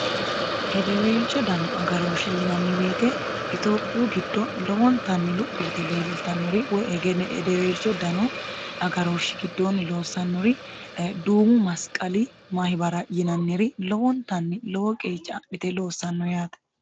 hedeweelcho dano agarooshshe yinanni woyiite itophiyu giddo lowontanni luphi yite leellitannori woy hegenne hedeweelcho dano agarooshshi giddoonni loossannori duumu masiqali mahibara yinanniri lowontanni lowo qeecca adhite loossanno yaate